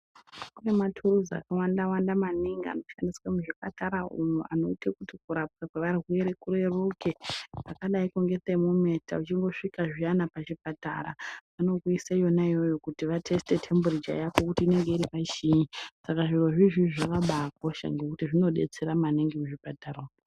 Kune matuluzi akawanda-wanda maningi anoshandiswa muzvipatara umwo anoite kuti kurapwa kweantu kureruke. Kwakadaiko ngetemomita uchingosvika zviyana pachipatara vanokuisa yonaiyoyo kuti vatesite tembiricha yako kuti inenge iri pachii Saka zviro zvizvi zvakabakosha ngekuti zvinobetsera maningi muzvipatara umu.